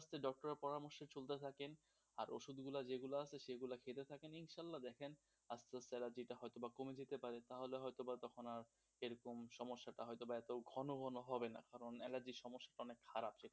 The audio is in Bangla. doctor এর পরামর্ষে চলতে থাকেন, আর ওষুধগুলা যেগুলা আছে সেগুলা খেতে থাকেন. ইনশাল্লাহ দেখেন হয়েছে বা কমে যেতে পারে তাহলে হয়ত বা তখন আর এরকম সমস্যাটা এত ঘন ঘন আর হবে না কারণ অ্যালার্জির সমস্যাটা অনেক খারাপ.